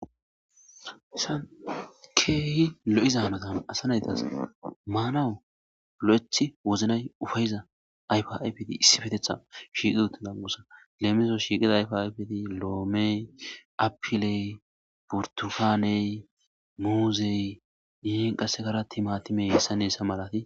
Haysan keehi lo7izaanatan asa naytas maanawu lo7ethi woznay ufayiza ayfa7a biidi issi fetetha shiiqi utida musa leemiso shiiqida ayfaabeti lo7omey apiley burtukaney muuzey yihin qassekaratti matimey hessa neessa malati